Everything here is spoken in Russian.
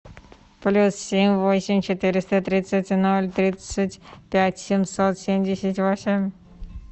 плюс семь восемь четыреста тридцать ноль тридцать пять семьсот семьдесят восемь